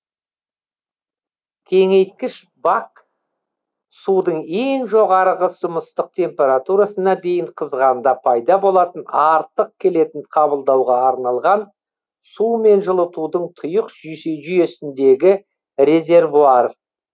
кеңейткіш бак судың ең жоғарғы сұмыстық температурасына дейін қызғанда пайда болатын артық келетін қабылдауға арналған сумен жылытудың тұйық жүйесіндегі резервуар